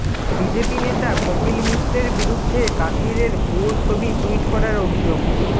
BJP নেতা কপিল মিশ্রের বিরুদ্ধে কাশ্মীরের ভুয়ো ছবি টু্ইট করার অভিযোগ